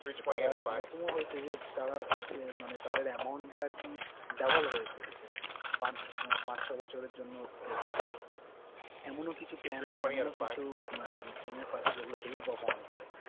তো, তাঁরা একরমও হয়েছে যে তাঁরা সে মানে তাঁদের amount টা আরকি double হয়ে পেয়েছে। পাঁচ~ পাঁচ ছয় বছরের জন্য রেখেছিল। এমনও কিছু plan আছে এমনও কিছু আহ MF আছে যেগুলা heavy perform করে।